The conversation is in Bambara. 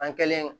An kɛlen